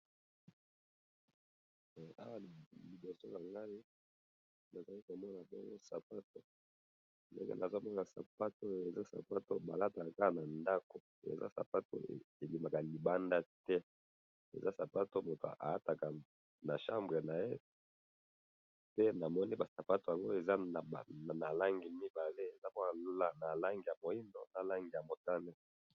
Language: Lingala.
Eh! Awa liboso nangayi nazali komona bongo sapatu, ndenge nazomona sapatu oyo, eza sapatu oyo balataka kaka nandako eza sapatu ebimaka libanda te, eza sapatu oomutu alataka na chambre naye, pe namkni pasapatu yango eza nabalangi mibale, eza nabalangi ya mwindu nalangi yamutane.